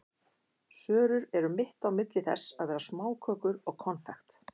Sörur eru mitt á milli þess að vera smákökur og konfekt.